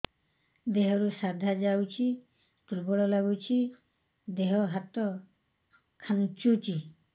ଦେହରୁ ସାଧା ଯାଉଚି ଦୁର୍ବଳ ଲାଗୁଚି ଦେହ ହାତ ଖାନ୍ଚୁଚି